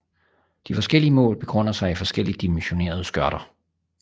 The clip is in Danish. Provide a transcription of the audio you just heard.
De forskellige mål begrunder sig i forskelligt dimensionerede skørter